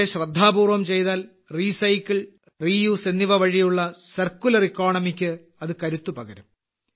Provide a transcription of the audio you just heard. പക്ഷേ ശ്രദ്ധാപൂർവം ചെയ്താൽ റീസൈക്കിൾ റീ യൂസ് എന്നിവ വഴിയുള്ള സർക്കുലർ എക്കണോമിക്ക് ഇത് കരുത്ത് പകരും